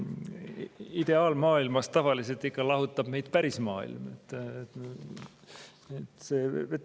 Ideaalmaailmast tavaliselt ikka lahutab meid päris maailm.